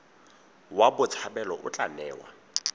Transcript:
wa botshabelo o tla newa